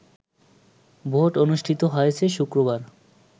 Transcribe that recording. vote অনুষ্ঠিত হয়েছে শুক্রবার